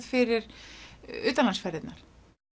fyrir utanlandsferðirnar